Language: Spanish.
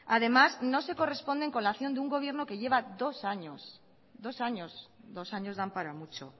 además no se corresponden con la acción de un gobierno que lleva dos años dos años dan para mucho